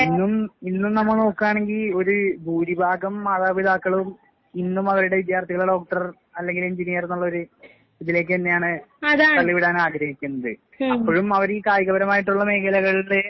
ഇന്നും ഇന്നും നമ്മ നോക്കാണങ്കി ഒര് ഭൂരിഭാഗം മാതാപിതാക്കളും ഇന്നും അവരുടെ വിദ്യാർത്ഥികളെ ഡോക്ടർ അല്ലെങ്കിൽ എഞ്ചിനിയർന്നുള്ളൊര് ഇതിലേക്ക് തന്നെയാണ് തള്ളിവിടാൻ ആഗ്രഹിക്കുന്നത്. അപ്പോഴും അവർ ഈ കായികപരമായിട്ടുള്ള മേഖലകളിലെ